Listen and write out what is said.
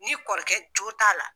Ni kɔrɔkɛ jo t'a la.